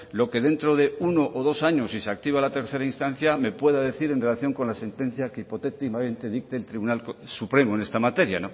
lo que dentro de uno o dos años sí se activa la tercera instancia me pueda a decir en relación con la sentencia que hipotéticamente dicte el tribunal supremo en esta materia